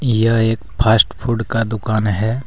यह एक fast food का दुकान है ।